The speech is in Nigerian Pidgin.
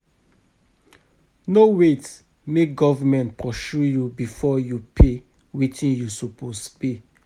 No wait make government pursue you before you pay wetin you suppose pay.